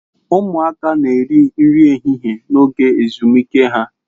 Ụmụaka na-eri nri ehihie n'oge ezumike ha.